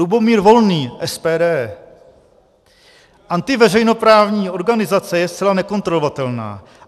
Lubomír Volný, SPD: Antiveřejnoprávní organizace je zcela nekontrolovatelná.